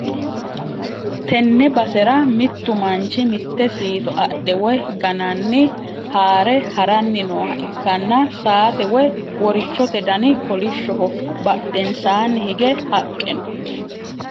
tenne basera mittu manchi mitte siito adhe woy gananni haare ha'ranni nooha ikkanna ,saate woy worichote dani kolishshoho. badhensaanni hige haqqe no.